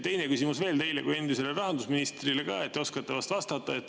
Teine küsimus teile kui endisele rahandusministrile ka, te oskate vahest vastata.